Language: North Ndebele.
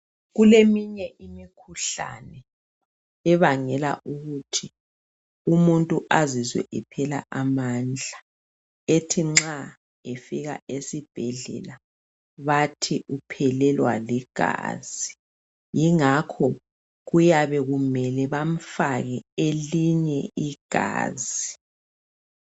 Kuleminye imikhuhlane ebangela ukuthi umuntu azizwe ephela amandla. Ethi nxa efika esibhedlela bathi uphelelwa ligazi. Yingakho kuyabe kumele bamfake elinye igazi.